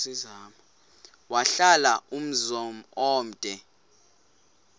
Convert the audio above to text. wahlala umzum omde